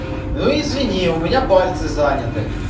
ну извини у меня пальцы занят